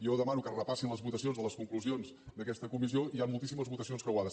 jo demano que es repassin les votacions de les conclusions d’aquesta comissió hi han moltíssimes votacions creuades